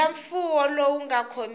ya mfuwo lowu nga khomekiki